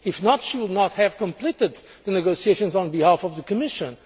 If not, she would not have completed the negotiations on behalf of the Commission.